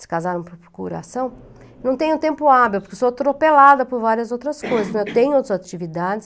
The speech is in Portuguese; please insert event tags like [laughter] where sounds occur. se casar no próprio coração, não tenho tempo hábil, porque sou atropelada por várias outras coisas, [coughs] tenho outras atividades.